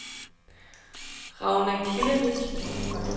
Ragna Kiilerich